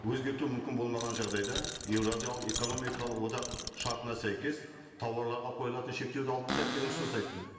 өзгерту мүмкін болмаған жағдайда еуразиялық экономикалық одақ шартына сәйкес тауарларға қойылатын шектеуді алып тастайық деген ұсыныс айттым